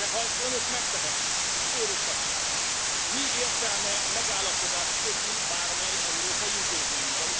De ha ezt Önök megtehetik, és fölrúghatják, mi értelme megállapodást kötni bármely európai intézménnyel?